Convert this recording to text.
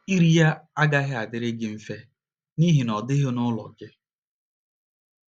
Iri ya agaghị adịrị gị mfe n’ihi na ọ dịghị n’ụlọ gị.